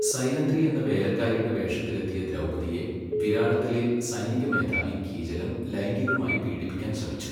സൈരന്ധ്രി എന്ന വേലക്കാരിയുടെ വേഷത്തിൽ എത്തിയ ദ്രൗപദിയെ വിരാടത്തിലെ സൈനിക മേധാവി കീചകൻ ലൈംഗികമായി പീഡിപ്പിക്കാൻ ശ്രമിച്ചു.